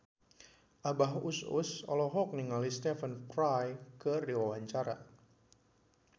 Abah Us Us olohok ningali Stephen Fry keur diwawancara